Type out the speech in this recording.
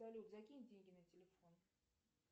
салют закинь деньги на телефон